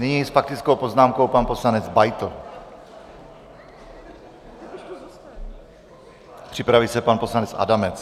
Nyní s faktickou poznámkou pan poslanec Beitl, připraví se pan poslanec Adamec.